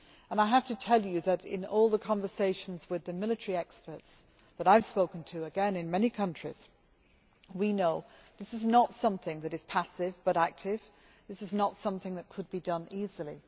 I have to tell you that, in all the conversations with the military experts that I have spoken to in many countries, we know that this is not something which is passive but active, or something that could be done easily.